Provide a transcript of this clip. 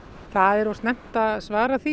það er of snemmt að svara því